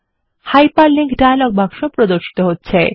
hyperlink dialogue বাক্স প্রদর্শিত হচ্ছে